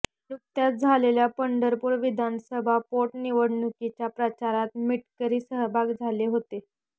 नुकत्याच झालेल्या पंढरपूर विधानसभा पोटनिवडणुकीच्या प्रचारात मिटकरी सहभागी झाले होते